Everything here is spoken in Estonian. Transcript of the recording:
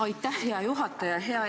Aitäh, hea juhataja!